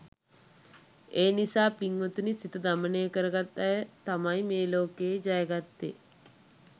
ඒ නිසා පින්වතුනි සිත දමනය කරගත් අය තමයි මේ ලෝකය ජයගත්තෙ.